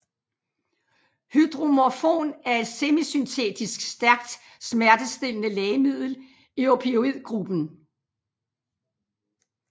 Hydromorphon er et semisyntetisk stærkt smertestillende lægemiddel i opioid gruppen